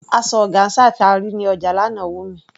Asọ ọgáńsà tí a rí ní ọjà lánàá wù mí.